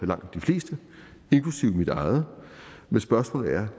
langt de fleste inklusive mit eget spørgsmålet er